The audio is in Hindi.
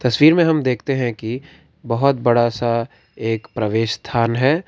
तस्वीर हम देखते हैं कि बहुत बड़ा सा एक प्रवेश स्थान है।